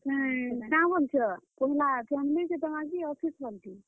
ହୁଁ, କାଁ ବୋଲୁଛ, ପହେଲା family କେ ଦେମା କି office ବାଲେକୁ?